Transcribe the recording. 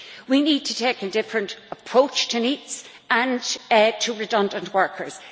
We need to take a different approach to NEETs and to redundant workers.